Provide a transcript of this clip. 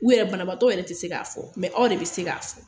U yɛrɛ banabatɔw yɛrɛ tɛ se k'a fɔ, mɛ aw de bɛ se k'a fɔ.